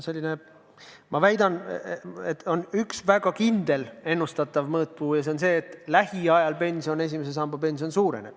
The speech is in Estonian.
Ma väidan, et see on üks väga kindlal moel ennustatav suurus ja et lähiajal esimese samba pension suureneb.